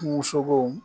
Kungo sogo